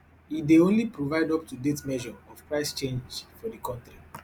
e dey only provide up to date measure of price change for di kontri